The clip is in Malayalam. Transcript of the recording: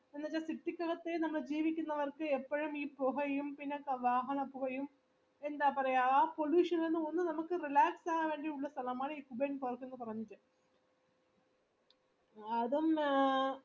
city ക്കകത്തെ ജീവിക്കുന്നവർക് എപ്പഴും ഈ പുഹയും വാഹന പുകയും എന്താ പറയാ ആ pollution ഇൽ നിന്നും ഒന്ന് നമുക്ക് relaxed ആവാൻ വേണ്ടി ഉള്ള സ്ഥലമാണ് ഈ എന്ന് പറയുന്നത്